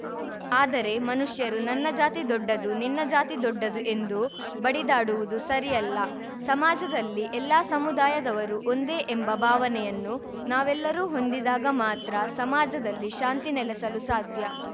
ಆದರೆ ಮನುಷ್ಯರು ನನ್ನ ಜಾತಿ ದೊಡ್ಡದು ನಿನ್ನ ಜಾತಿ ದೊಡ್ಡದು ಎಂದು ಬಡಿದಾಡುವುದು ಸರಿಯಲ್ಲ ಸಮಾಜದಲ್ಲಿ ಎಲ್ಲಾ ಸಮುದಾಯದವರು ಒಂದೇ ಎಂಬ ಭಾವನೆಯನ್ನು ನಾವೆಲ್ಲರೂ ಹೊಂದಿದಾಗ ಮಾತ್ರ ಸಮಾಜದಲ್ಲಿ ಶಾಂತಿ ನೆಲೆಸಲು ಸಾಧ್ಯ